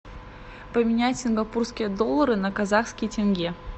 поменять сингапурские доллары на казахские тенге